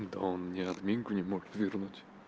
да он мне админку не мог вернуть